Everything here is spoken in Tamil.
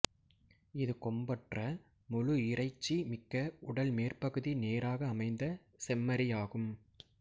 இது கொம்பற்ற முழு இறைச்சி மிக்க உடல் மேற்பகுதி நேராக அமைந்த செம்மறியாகும்